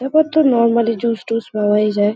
তারপর তো normally juice টুস পাওয়াই যায়।